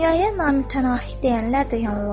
Dünyaya namühtənafi deyənlər də yanılırlar.